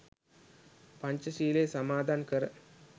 පංචශීලයෙහි සමාදන් කර